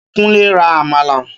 Kúnlé ra àmàlà.